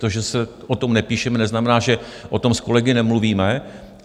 To, že se o tom nepíše, neznamená, že o tom s kolegy nemluvíme.